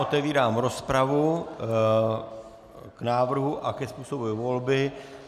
Otevírám rozpravu k návrhu a ke způsobu volby.